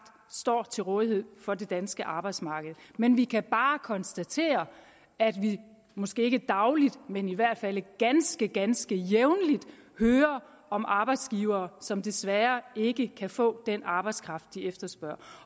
stod til rådighed for det danske arbejdsmarked men vi kan bare konstatere at vi måske ikke dagligt men i hvert fald ganske ganske jævnligt hører om arbejdsgivere som desværre ikke kan få den arbejdskraft de efterspørger